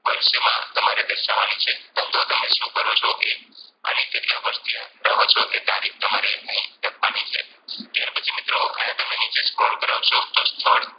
વર્ષમાં તમારે દર્શાવવાની છે ધંધો તમે સુ કરો છો એ અને કેટલા વર્ષથી આ રહો છો એ તારીખ અહીં લખવાની છે ત્યાર પછી મિત્રો આય તમે નીચે Scroll કરાવશો તો સ્થળ